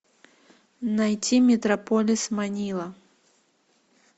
найти метрополис манила